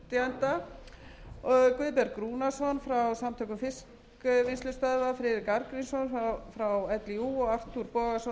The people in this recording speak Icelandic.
útflytjenda guðberg rúnarsson frá samtökum fiskvinnslustöðva friðrik arngrímsson frá líú og arthur bogason og örn